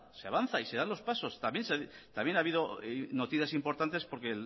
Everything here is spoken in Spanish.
se avanza y se dan los pasos también ha habido noticias importantes porque